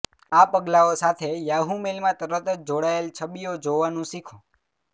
આ પગલાંઓ સાથે યાહુ મેઇલમાં તરત જ જોડાયેલ છબીઓ જોવાનું શીખો